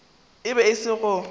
e be e se go